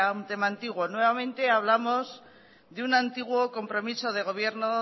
a un tema antiguo nuevamente hablamos de un antiguo compromiso de gobierno